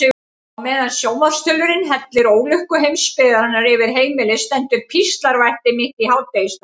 Á meðan sjónvarpsþulurinn hellir ólukku heimsbyggðarinnar yfir heimilið stendur píslarvætti mitt í hádegisstað.